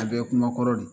A bɛɛ ye kuma kɔrɔ de